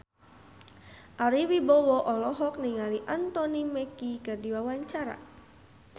Ari Wibowo olohok ningali Anthony Mackie keur diwawancara